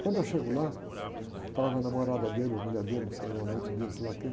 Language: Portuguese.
Quando eu chego lá, estava a namorada dele, ou a mulher dele, não sei, ou a amante dele, sei lá quem.